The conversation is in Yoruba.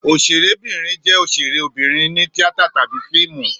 Òṣèrébìnrin jẹ́ òṣèré obìnrin ní tíátà tàbí fíìmù.